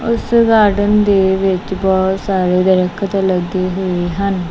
ਉਸ ਗਾਰਡਨ ਦੇ ਵਿੱਚ ਬਹੁਤ ਸਾਰੇ ਦਰਖਤ ਲੱਗੇ ਹੋਏ ਹਨ।